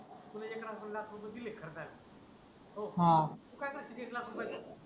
तुला एक लाख रुपये दिले खर्चाला तर काय करशील त्या एक लाख रुपयांचा